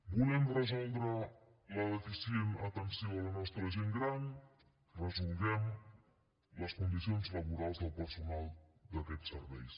volem resoldre la deficient atenció de la nostra gent gran resolguem les condicions laborals del personal d’aquests serveis